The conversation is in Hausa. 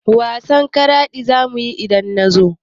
Wasan charade za mu yi idan na zo.